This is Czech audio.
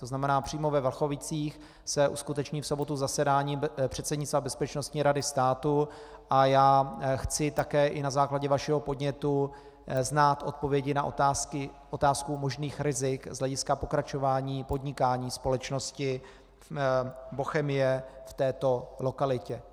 To znamená, přímo ve Vlachovicích se uskuteční v sobotu zasedání předsednictva Bezpečnostní rady státu a já chci také i na základě vašeho podnětu znát odpovědi na otázku možných rizik z hlediska pokračování podnikání společnosti Bochemie v této lokalitě.